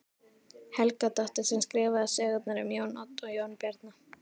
Helgadóttur sem skrifaði sögurnar um Jón Odd og Jón Bjarna.